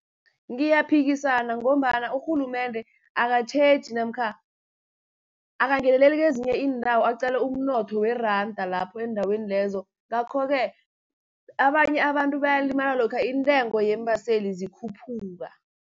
Ngiyaphikisana ngombana urhulumende akatjheji, namkha akangeneleli kezinye iindawo aqale umnotho weranda, lapho eendaweni lezo. Ngakho-ke abanye abantu bayalimala lokha intengo yeembaseli zikhuphuka.